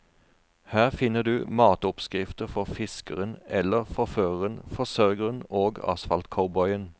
Her finner du matoppskrifter for fiskeren eller forføreren, forsørgeren og asfaltcowboyen.